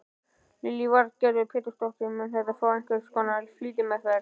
Lillý Valgerður Pétursdóttir: Mun þetta fá einhvers konar flýtimeðferð?